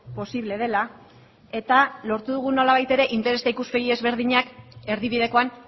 posible dela eta lortu dugu nolabait ere interes eta ikuspegi ezberdinak erdibidekoan